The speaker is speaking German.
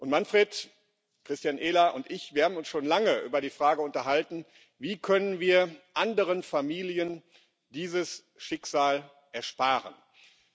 Manfred, Christian Ehler und ich haben uns schon lange über die Frage unterhalten, wie wir anderen Familien dieses Schicksal ersparen können.